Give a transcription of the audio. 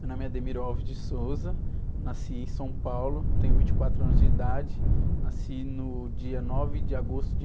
Meu nome é, nasci em São Paulo, tenho vinte e quatro anos de idade, nasci no dia nove de agosto de